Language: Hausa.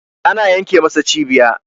ana yenke masa cibiya